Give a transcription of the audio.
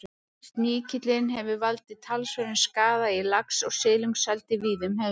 Sníkillinn hefur valdið talsverðum skaða í lax- og silungseldi víða um heim.